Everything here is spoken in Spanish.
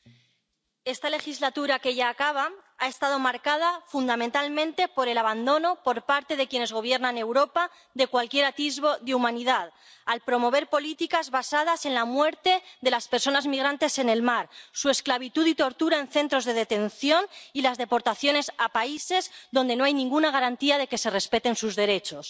Señor presidente, esta legislatura que ya acaba ha estado marcada fundamentalmente por el abandono por parte de quienes gobiernan Europa de cualquier atisbo de humanidad, al promover políticas basadas en la muerte de las personas migrantes en el mar, su esclavitud y tortura en centros de detención y las deportaciones a países donde no hay ninguna garantía de que se respeten sus derechos.